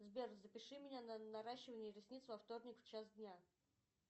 сбер запиши меня на наращивание ресниц во вторник в час дня